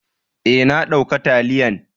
Eh, na dauka taliyan.